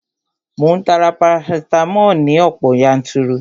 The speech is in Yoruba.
Mò ń ta parasitamoli ní ọ̀pọ̀ yanturu